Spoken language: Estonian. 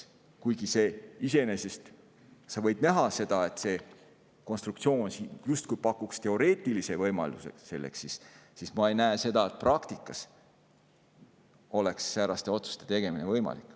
Kuigi iseenesest sa võid näha, et selline konstruktsioon justkui pakuks teoreetilise võimaluse, ma ei näe seda, et praktikas oleks sääraste otsuste tegemine võimalik.